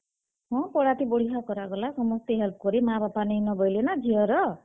ହଁ, ତ ହେଟା ବଢିଆଁ କରାଗଲା ।ସମସ୍ତେ help କଲେ। ମାଁ, ବାପା ନିଁ ନ ବଏଲେ ନାଁ ଝିଅ ର୍।